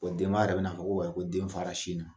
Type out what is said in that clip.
O denba yɛrɛ bɛn'a fɔ ko ko den fara sin na